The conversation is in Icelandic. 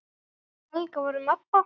Við Helga vorum ABBA.